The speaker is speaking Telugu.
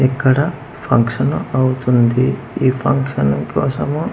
ఇక్కడ ఫంక్షను అవుతుంది ఈ ఫంక్షన్ కోసము--